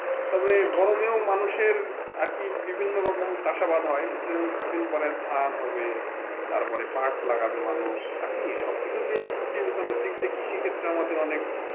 তবে গরমেও মানুষের একি বিভিন্ন রকম চাষাবাদ হয় যেমন কিছুদিন পরে ধান হবে তারপরে পাট লাগাবে মানুষ আর কি সবকিছু দিয়ে ক্ষেত্রে আমাদের অনেক,